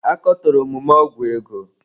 A katọrọ omume ọgwụ ego.